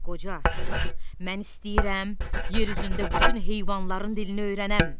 Qoca, mən istəyirəm, yer üzündə bütün heyvanların dilini öyrənəm.